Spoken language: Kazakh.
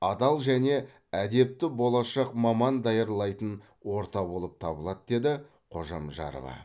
адал және әдепті болашақ маман даярлайтын орта болып табылады деді қожамжарова